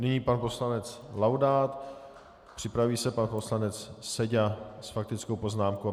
Nyní pan poslanec Laudát, připraví se pan poslanec Seďa s faktickou poznámkou.